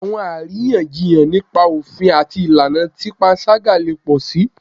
Awọn ariyanjiyan nipa ofin ati ilana ti panṣaga le pọ si